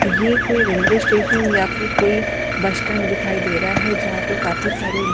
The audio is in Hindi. ये कोई रेलवे स्टेशन या फिर कोई बस स्टैंड दिखाई दे रहा है जहां पे काफी सारे--